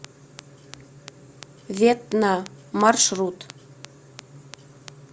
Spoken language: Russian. ветна маршрут